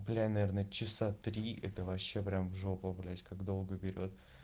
наверно часа три это вообще прям в жопу блять как долго берет